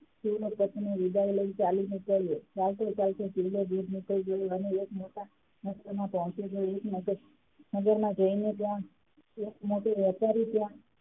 તેની પત્ની ની વિદાય લઈને ચાલીને ચાલ્યો ચાલતો -ચાલતો શિવલો અને એક મોટા નગરમાં જઈને ત્યાં એક મોટો વેપારી ત્યાં,